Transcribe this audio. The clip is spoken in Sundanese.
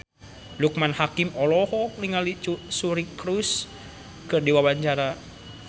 Loekman Hakim olohok ningali Suri Cruise keur diwawancara